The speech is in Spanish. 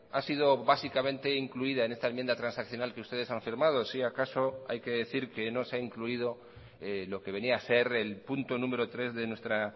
ha sido básicamente incluida en esta enmienda transaccional que ustedes han firmado si acaso hay que decir que no se ha incluido lo que venía a ser el punto número tres de nuestra